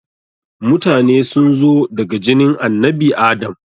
Mutane sunzo daga jinin annabi Adam